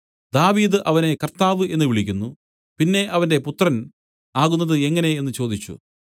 ദാവീദ് അവനെ കർത്താവ് എന്നു വിളിക്കുന്നു പിന്നെ അവന്റെ പുത്രൻ ആകുന്നത് എങ്ങനെ എന്നു ചോദിച്ചു